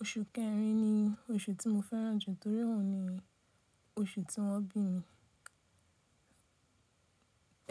Oṣù kẹrin ni oṣù tí mo fẹ́ràn jù nítorí òhun ni oṣù tí wọ́n bí mi.